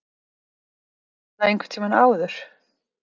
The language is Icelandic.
Heyrði ég það einhvern tíma áður?